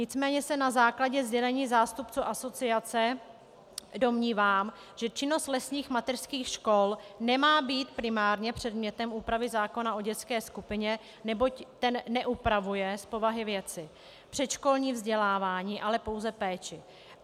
Nicméně se na základě sdělení zástupců asociace domnívám, že činnost lesních mateřských škol nemá být primárně předmětem úpravy zákona o dětské skupině, neboť ten neupravuje z povahy věci předškolní vzdělávání, ale pouze péči.